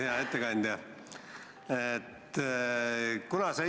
Hea ettekandja!